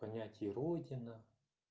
понятие родина